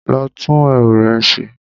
Lọ tún ẹwù rẹ ṣe